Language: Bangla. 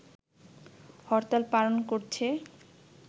হরতাল পালন করছে